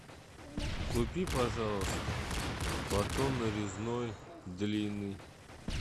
купи пожалуйста батон нарезной длинный